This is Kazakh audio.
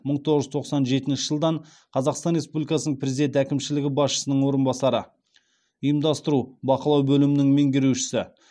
мың тоғыз жүз тоқсан жетінші жылдан қазақстан республикасының президент әкімшілігі басшысының орынбасары ұйымдастыру бақылау бөлімінің меңгерушісі